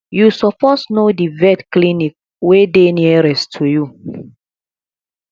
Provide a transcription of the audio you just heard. you suppose know di vet clinic wey dey nearest to you